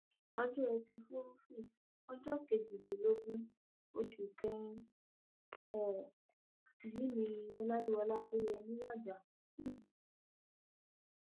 ọjọ etí furuufee ọjọ kejìlélógún oṣù kẹrin um yìí ni ọláyíwọlá adéyẹmi wájà um